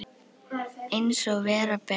Eins og vera ber.